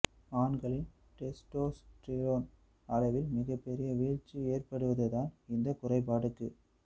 ஆண்களின் டெஸ்டோஸ்டிரோன் அளவில் மிகப்பெரிய வீழ்ச்சி ஏற்படுவது தான் இந்த குறைபாடுக்கு